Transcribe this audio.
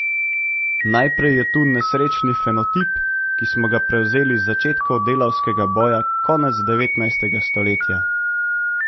Najprej je tu nesrečni fenotip, ki smo ga prevzeli z začetkov delavskega boja konec devetnajstega stoletja.